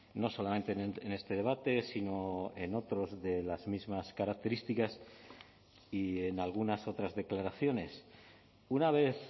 no solamente en este debate sino en otros de las mismas características y en algunas otras declaraciones una vez